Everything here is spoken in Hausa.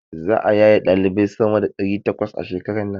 Za'a yaye ɗalibai sama da ɗari takwas a shekaran nan.